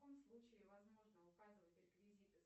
в каком случае возможно указывать реквизиты